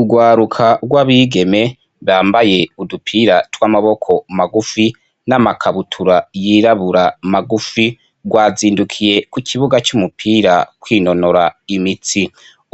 Ugwaruka gw' abigeme bambaye udupira tw' amaboko magufi n' amakabutura yirabura magufi, gwazindukiye ku kibuga c' umupira kwinonora imitsi,